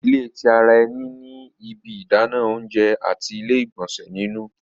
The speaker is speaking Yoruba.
ilé tí àrà eni ní ibí Idana oúnjẹ àti ile-igbọnsẹ nínú